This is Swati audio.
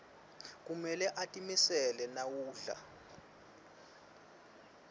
kumele utimisele nawudlala